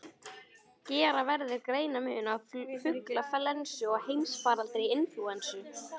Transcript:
Gera verður greinarmun á fuglaflensu og heimsfaraldri inflúensu.